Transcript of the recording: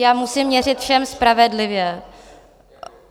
Já musím měřit všem spravedlivě.